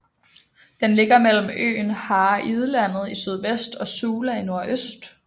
Den ligger mellem øen Hareidlandet i sydvest og Sula i nordøst